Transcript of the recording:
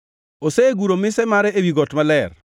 Oseguro mise mare ewi got maler;